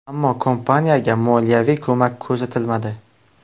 Ammo kompaniyaga moliyaviy ko‘mak ko‘rsatilmadi.